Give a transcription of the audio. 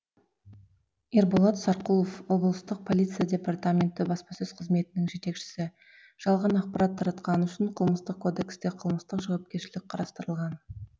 ерболат сарқұлов облыстық полиция департаменті баспасөз қызметінің жетекшісі жалған ақпарат тартқаны үшін қылмыстық кодексте қылмыстық жауапкершілік қарастырылған